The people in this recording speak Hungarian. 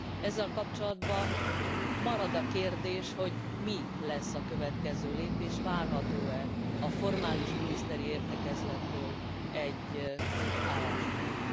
Ezzel kapcsolatban marad a kérdés, hogy mi lesz a következő lépés, várható e a formális miniszteri értekezlettől egy álláspont.